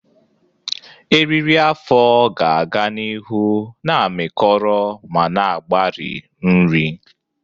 Eriri afọ ga-aga n'ihu na-amịkọrọ ma na-agbari nri.